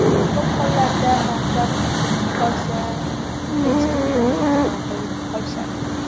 Ko‘p hollarda mansab bitib qolsa, hech kimni mensimay qolishadi.